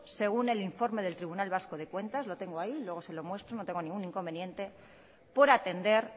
según el informe del tribunal vasco de cuentas lo tengo ahí luego se lo muestro no tengo ningún inconveniente por atender